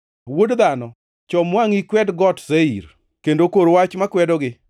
“Wuod dhano, chom wangʼi ikwed Got Seir, kendo kor wach makwedogi